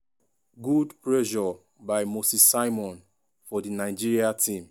good pressure by moses simon for di nigeria team.